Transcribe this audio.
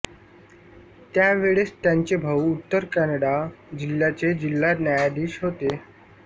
त्यावेळेस त्यांचे भाऊ उत्तर कानडा जिल्ह्याचे जिल्हा न्यायाधीश होते